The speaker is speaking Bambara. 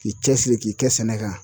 K'i cɛsiri k'i kɛ sɛnɛ kan